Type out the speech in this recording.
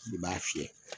I b'a fiyɛ